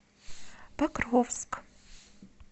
покровск